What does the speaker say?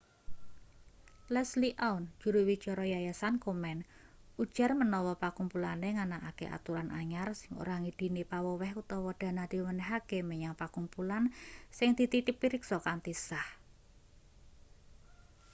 leslie aun juru wicara yayasan komen ujar manawa pakumpulane nganakake aturan anyar sing ora ngidini paweweh utawa dana diwenehake menyang pakumpulan sing dititipriksa kanthi sah